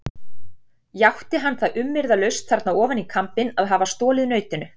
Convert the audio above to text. Játti hann það umyrðalaust þarna ofan í kambinn að hafa stolið nautinu.